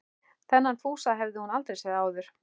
Þennan Fúsa hafði hún aldrei séð áður.